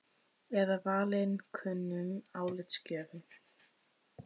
Eða valinkunnum álitsgjöfum?